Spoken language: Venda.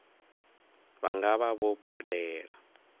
vha nga vha vho badela